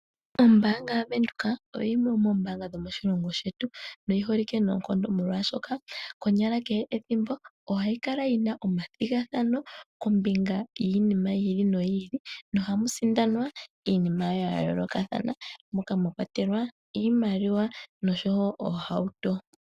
Ombaanga yaVenduka oyo yimwe yomoombanga dho omoshilongo shetu noyi holike noonkondo, molwashoka konyala kehe ethimbo ohayai kala yina omathigathano kombinga yiinima yi ili noyi ili nohamu sindanwa iinima ya yoolokathana, moka mwa kwatelwa iimaliwa noshowo oohauto.